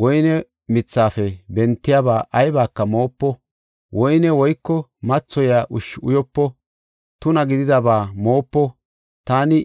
Woyne mithafe bentiyaba aybaka moopo; woyne woyko mathoyiya ushshi uyopo; tuna gididaba moopo. Taani